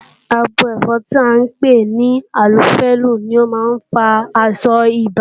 Abo ẹ́fọn tí à ń pè ní ànófílí ni ó má ń fa àìsàn ibà